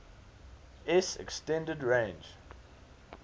s extended range